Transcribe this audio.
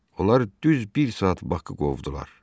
Onlar düz bir saat Baxı qovdular.